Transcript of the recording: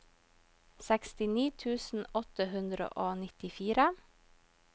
sekstini tusen åtte hundre og nittifire